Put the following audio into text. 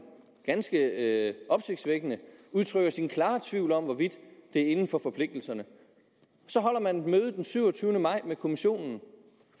ganske opsigtsvækkende udtrykker sin klare tvivl om hvorvidt det er inden for forpligtelserne så holder man et møde den syvogtyvende maj med kommissionen